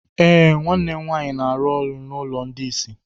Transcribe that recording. Eh, nwanne m nwaanyị na-arụ n'ụlọ ndị isi.